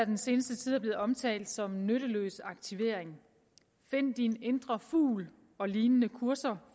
den seneste tid er blevet omtalt som nytteløs aktivering find din indre fugl og lignende kurser